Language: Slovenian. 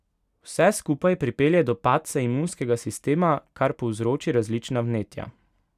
Vse skupaj pripelje do padca imunskega sistema, kar povzroči različna vnetja.